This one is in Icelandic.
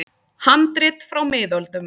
Handrit frá miðöldum.